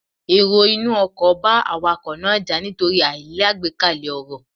Èrò inú ọkò bá Awakọ̀ náà jà nítorí àìlágbékalè ọ̀rọ̀